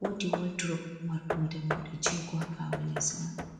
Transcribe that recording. wodi woldurob marɗum dammuɗe jego haɓawo leso man.